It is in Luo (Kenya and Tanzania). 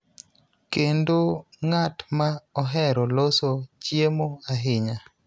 kendo ng�at ma ohero loso chiemo ahinya.